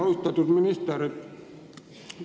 Austatud minister!